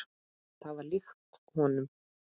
Það var líkt honum.